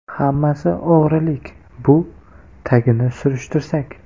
Hammasi o‘g‘rilik bu, tagini surishtirsak.